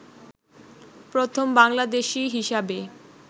প্রথম বাংলাদেশী হিসাবে